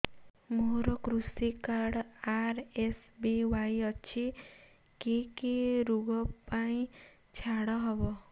ମୋର କୃଷି card RSBY ଅଛି କି କି ଋଗ ପାଇଁ ଛାଡ଼ ହବ